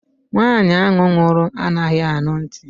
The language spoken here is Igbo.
Nwaanyi ahụ nwụrụ anaghị anụ ntị